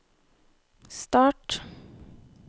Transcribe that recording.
start